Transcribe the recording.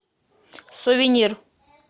сувенир